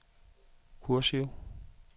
kursiv